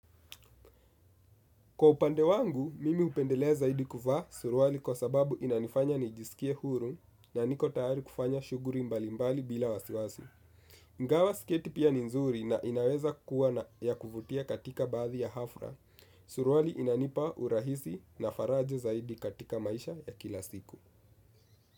Kwa upande wangu, mimi hupendelea zaidi kuvaa suruali kwa sababu inanifanya nijisikie huru na niko tayari kufanya shughuli mbalimbali bila wasiwasi. Ingawa sketi pia ni nzuri na inaweza kuwa na ya kuvutia katika baadhi ya hafla, suruali ina nipa urahisi na faraja zaidi katika maisha ya kila siku.